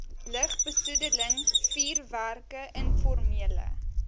lugbesoedeling vuurwerke informele